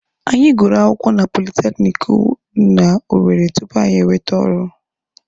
Anyị gụrụ akwụkwọ na politekiniki dị na Owere tupu anyị enwete ọrụ.